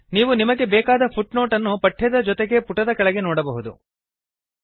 ನೀವು ನಿಮಗೆ ಬೇಕಾದ ಫುಟ್ನೋಟ್ ಅನ್ನು ಪಠ್ಯದ ಜೊತೆಗೆ ಪುಟದ ಕೆಳಗಡೆ ನೋಡಬಹುದು